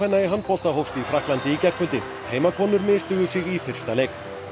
í handbolta hófst í Frakklandi í gærkvöldi misstigu sig í fyrsta leik